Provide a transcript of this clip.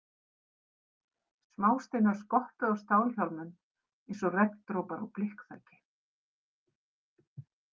Smásteinar skoppuðu á stálhjálmum eins og regndropar á blikkþaki.